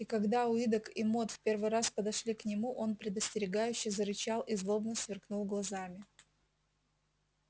и когда уидогг и мод в первый раз подошли к нему он предостерегающе зарычал и злобно сверкнул глазами